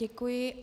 Děkuji.